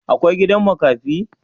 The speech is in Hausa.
Akwai gidan makafi?